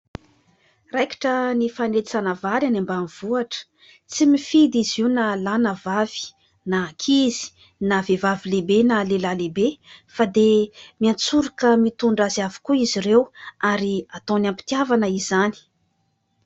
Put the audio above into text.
Raikitra ny fanetsana vary any ambanivohitra : tsy mifidy izy io na lahy na vavy na ankizy na vehivavy lehibe na lehilahy lehibe fa dia miantsoroka mitondra azy avokoa izy ireo ary ataony am-pitiavana izany.